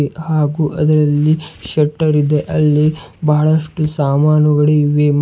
ಹಾಗು ಅದರಲ್ಲಿ ಶೆಟ್ಟರ್ ಇದೆ ಅಲ್ಲಿ ಬಹಳಷ್ಟು ಸಾಮಾನುಗಳು ಇವೆ.